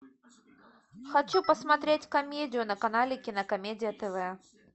хочу посмотреть комедию на канале кинокомедия тв